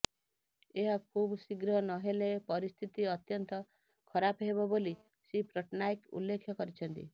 ଏହା ଖୁବ୍ଶୀଘ୍ର ନହେଲେ ପରିସ୍ଥିତି ଅତ୍ୟନ୍ତ ଖରାପ ହେବ ବୋଲି ଶ୍ରୀ ପଟ୍ଟନାୟକ ଉଲ୍ଲେଖ କରିଛନ୍ତି